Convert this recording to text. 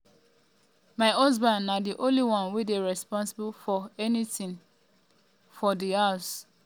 my husband na di only one wey dey responsible for wetin we um dey chop and drink." um